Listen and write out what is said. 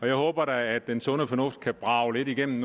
jeg håber da at den sunde fornuft kan brage lidt igennem